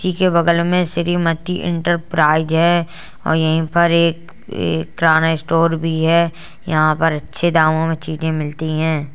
इसके बगल में श्रीमती एंटरप्राइज हैं और यहीं पर एक किराना स्टोर भी है। यहाँ पर अच्छे दामों में चीनी मिलती है।